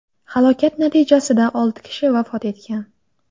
Halokat natijasida olti kishi vafot etgan.